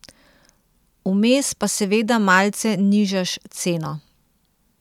Vmes pa seveda malce nižaš ceno.